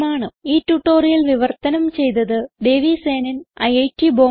ഈ ട്യൂട്ടോറിയൽ വിവർത്തനം ചെയ്തത് ദേവി സേനൻ ഐറ്റ് ബോംബേ